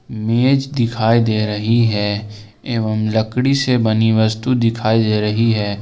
मेज दिखाई दे रही है एवं लकड़ी से बनी वस्तु दिखाई दे रही है।